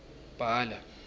bhala